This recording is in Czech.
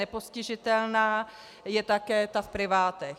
Nepostižitelná je také ta v privátech.